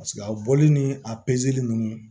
Paseke a bɔli ni a nunnu